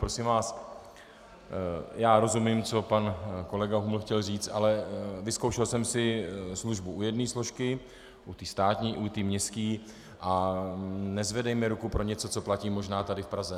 Prosím vás, já rozumím, co pan kolega Huml chtěl říct, ale vyzkoušel jsem si službu u jedné složky, u té státní, i u městské a nezvedejme ruku pro něco, co platí možná tady v Praze.